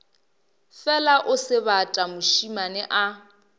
fela o sebata mošemane a